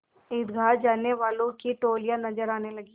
ईदगाह जाने वालों की टोलियाँ नजर आने लगीं